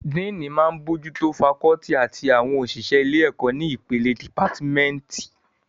Díìnì máa n bójú tó fakọ́ọ́tì àti àwọn òṣìṣẹ́ ilé-ẹ̀kọ́ ní ìpele ti dìpátímẹ́ǹtì